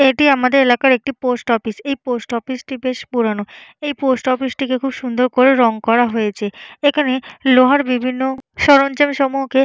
এটি আমাদের এলাকার একটি পোস্ট অফিস । এই পোস্ট অফিসটি বেশ পুরানো। এই পোস্ট অফিসটিকে খুব সুন্দর করে রং করা হয়েছে। এইখানে লোহার বিভিন্ন সরঞ্জাম সমূহকে --